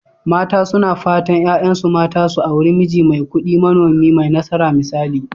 Mata suna fatan 'ya'yansu mata su auri miji mai kudi, manomi mai nasara misali.